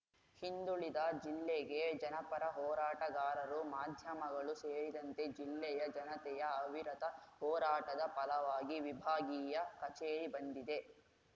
ಹಿಂದುಳಿದ ಜಿಲ್ಲೆಗೆ ಜನಪರ ಹೋರಾಟಗಾರರು ಮಾಧ್ಯಮಗಳು ಸೇರಿದಂತೆ ಜಿಲ್ಲೆಯ ಜನತೆಯ ಅವಿರತ ಹೋರಾಟದ ಫಲವಾಗಿ ವಿಭಾಗೀಯ ಕಚೇರಿ ಬಂದಿದೆ